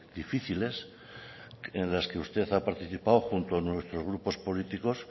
difíciles en las que usted ha participado junto a nuestros grupos políticos